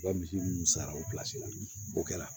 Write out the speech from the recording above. U ka misi ninnu sara o la o kɛra